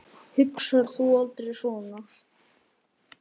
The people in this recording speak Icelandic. Hugsar þú aldrei svona?